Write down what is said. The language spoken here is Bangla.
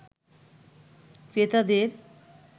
ক্রেতাদের